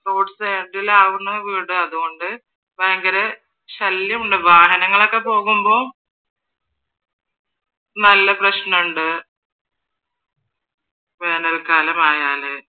roadside ലാണ് വീട് അതുകൊണ്ട് ഭയങ്കരം ശല്യമുണ്ട് വാഹനങ്ങളൊക്കെ പോകുമ്പ നല്ല പ്രശ്‌നമുണ്ട് വേനൽകാലം ആയാല്